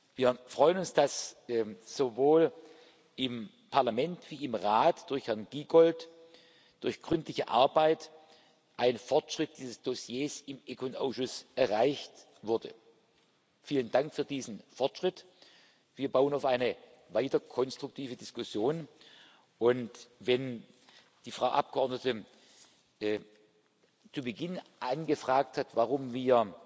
Mitgliedstaaten dient. Wir freuen uns, dass sowohl im Parlament als auch im Rat durch Herrn Giegold durch gründliche Arbeit ein Fortschritt bei diesem Dossier im ECON Ausschuss erreicht wurde. Vielen Dank für diesen Fortschritt! Wir bauen auf eine weiterhin konstruktive Diskussion. Und wenn die Frau Abgeordnete zu Beginn